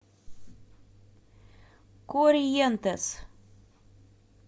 корриентес